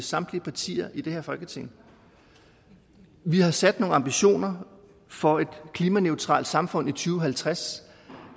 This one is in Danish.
samtlige partier i det her folketing vi har sat os nogle ambitioner for et klimaneutralt samfund i to og halvtreds